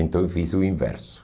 Então eu fiz o inverso.